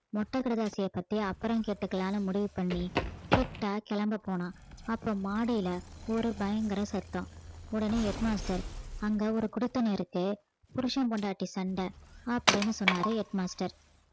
மொட்டை கடிதாசிய பத்தி அப்புறம் கேட்டுக்கலான்னு முடிவு பண்ணி கிட்டா கிளம்ப போனான் அப்ப மாடியில ஒரு பயங்கர சத்தம் உடனே head master அங்க ஒரு குடித்தனம் இருக்கு புருசன் பொண்டாட்டி சண்டை அப்படின்னு சொன்னாரு head master